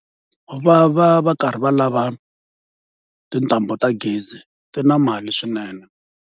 Va va va karhi va lava tintambu ta gezi ti na mali swinene.